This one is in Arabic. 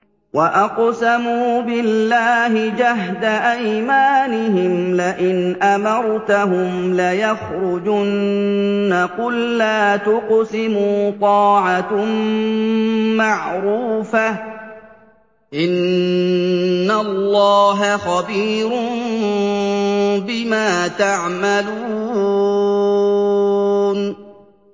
۞ وَأَقْسَمُوا بِاللَّهِ جَهْدَ أَيْمَانِهِمْ لَئِنْ أَمَرْتَهُمْ لَيَخْرُجُنَّ ۖ قُل لَّا تُقْسِمُوا ۖ طَاعَةٌ مَّعْرُوفَةٌ ۚ إِنَّ اللَّهَ خَبِيرٌ بِمَا تَعْمَلُونَ